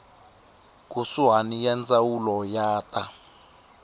kusuhani ya ndzawulo ya ta